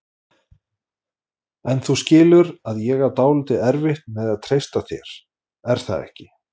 En þú skilur að ég á dálítið erfitt með að treysta þér, er það ekki?